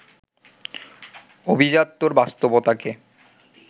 অভিজাত্যের বাস্তবতাকে